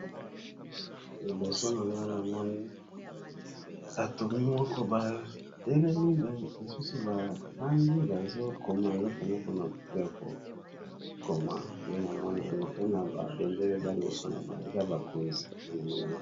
liboso na nga na moni atomi moko batelemi lisusu bafandi bazokoma eloko moko na buku ya kokoma nde na moni yango mpe na babendele eza liboso na eza bakonzi enamoni ango